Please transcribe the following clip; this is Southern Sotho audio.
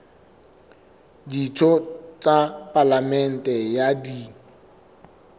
ditho tsa palamente ha di